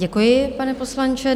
Děkuji, pane poslanče.